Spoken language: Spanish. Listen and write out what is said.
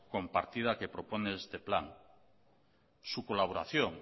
compartida que propone este plan su colaboración